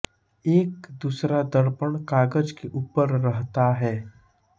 एक दूसरा दर्पण कागज के ऊपर रहता है